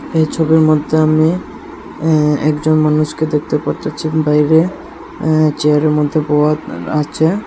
এই ছবির মদ্যে আমি অ্যা একজন মানুষকে দেখতে পারতাছি বাইরে অ্যা চেয়ার এর মদ্যে বওয়া আচে।